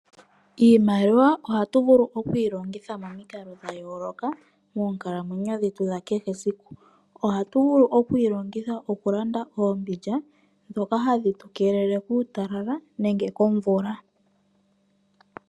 Iimaliwa ohatu vulu okuyi longitha momikalo dha yooloka ohtu vulu okuyi longitha okulanda ombindja ndjoka hayi vulu okutu kwathela muutalala.